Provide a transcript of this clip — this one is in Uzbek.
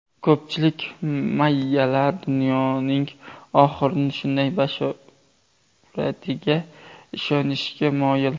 Ko‘pchilik mayyalar dunyoning oxirini shunday bashoratiga ishonishga moyil.